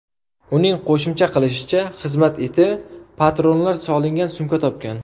Uning qo‘shimcha qilishicha, xizmat iti patronlar solingan sumka topgan.